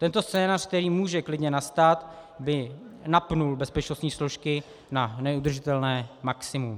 Tento scénář, který může klidně nastat, by napnul bezpečnostní složky na neudržitelné maximum.